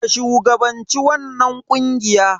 Ka shugabanci wannan ƙungiya.